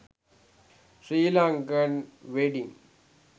sri lankan wedding